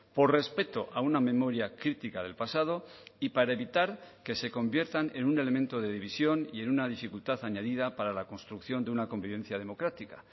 por respeto a una memoria crítica del pasado y para evitar que se conviertan en un elemento de división y en una dificultad añadida para la construcción de una convivencia democrática